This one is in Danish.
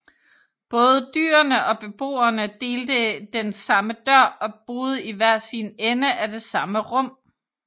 Både dyrene og beboerne delte den samme dør og boede i hver sin ende af det samme rum